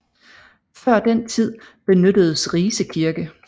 Før den tid benyttedes Rise Kirke